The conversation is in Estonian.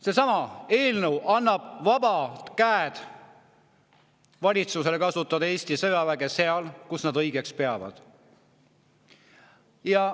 Seesama eelnõu annab valitsusele vabad käed kasutada Eesti sõjaväge seal, kus nad õigeks peavad.